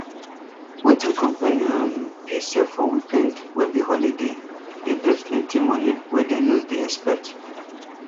wetin company um dey sell for weekend wey be holiday dey bring plenty money wey dem no dey expect